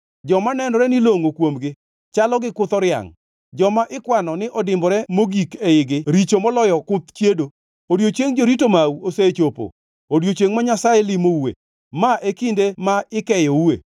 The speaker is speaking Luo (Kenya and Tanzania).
Joma nenore ni longʼo kuomgi; chalo gi kuth oriangʼ. Joma ikwano ni odimbore mogik eigi richo moloyo kuth chiedo. Odiechieng jorito mau osechopo, odiechiengʼ ma Nyasaye limoue. Ma e kinde ma ikeyoue.